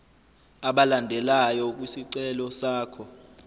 alandelayo kwisicelo sakho